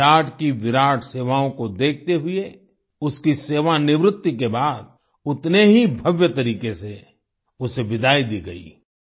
विराट की विराट सेवाओं को देखते हुए उसकी सेवानिवृत्ति के बाद उतने ही भव्य तरीक़े से उसे विदाई दी गई